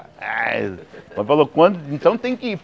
Aih mas falou quando, então tem que ir.